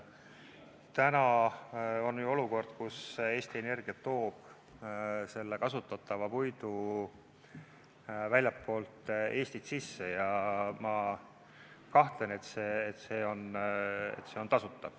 Täna on ju olukord, kus Eesti Energia toob kasutatava puidu väljastpoolt Eestit sisse, ja ma kahtlen, et see on tasuta.